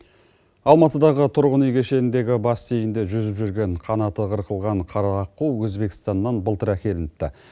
алматыдағы тұрғын үй кешеніндегі бассейнде жүзіп жүрген қанаты қырқылған қара аққу өзбекстаннан былтыр әкелініпті